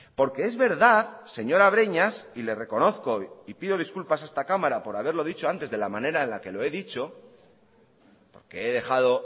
porque es verdad señora breñas y le reconozco y pido disculpas a esta cámara por haberlo dicho antes de la manera en la que lo he dicho porque he dejado